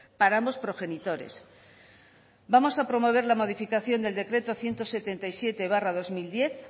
para ambos progenitores vamos a promover la modificación del decreto ciento setenta y siete barra dos mil diez